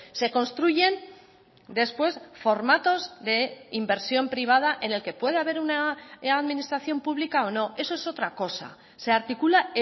se construyen después formatos de inversión privada en el que puede haber una administración pública o no eso es otra cosa se articula